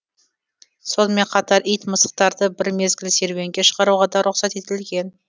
сонымен қатар ит мысықтарды бір мезгіл серуенге шығаруға да рұқсат етілген